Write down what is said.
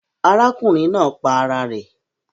Arákùnrin naa pa ara rè